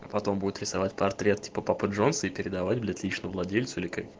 потом будет рисовать портрет папы джонса и передавать для тысячи владельцев